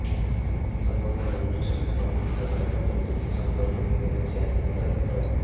সংবর্ধনা অনুষ্ঠানে সভাপতিত্ব করেন আন্তর্জাতিক সম্পর্ক বিভাগের চেয়ারম্যান অধ্যাপক ড